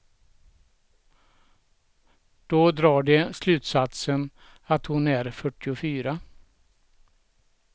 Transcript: Då drar de slutsatsen att hon är fyrtiofyra.